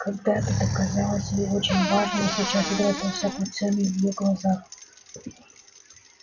когда это то казалось ей очень важным а сейчас утратило всякую цену в её глазах